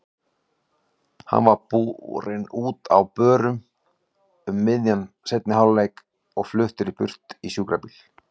Hann var borinn út á börum um miðjan seinni hálfleik og fluttur burt í sjúkrabíl.